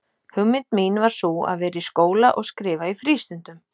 Hugmynd mín var sú, að vera í skóla og skrifa í frístundum.